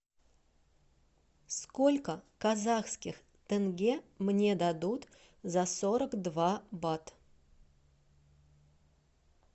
сколько казахских тенге мне дадут за сорок два бат